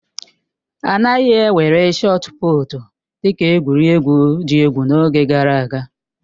A naghị ewere shọọt pụụtu dị ka egwuregwu dị egwu n'oge gara aga